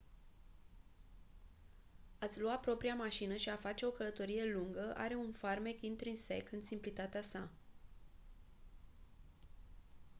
a-ți lua propria mașină și a face o călătorie lungă are un farmec intrinsec în simplitatea sa